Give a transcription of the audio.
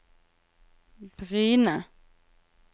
Bryne